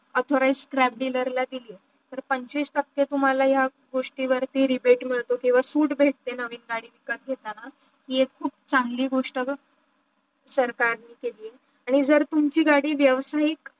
authorized scrap dealer ला दिली तर पंचवीस टाके तुम्हाला या गोष्टी वरती रिबीट मिडतो किंवा सुट भेटे नवीन गाडी विक्रत घेताना हे एक खूप चांगली गोष्टी सरकार ने केली आहे. आणी जर तुमची गाडी व्यवसाहिक